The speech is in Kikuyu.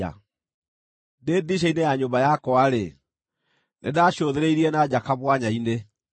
Ndĩ ndirica-inĩ ya nyũmba yakwa-rĩ, nĩndacũthĩrĩirie na nja kamwanya-inĩ,